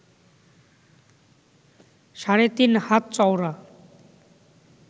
সাড়ে-তিন হাত চওড়া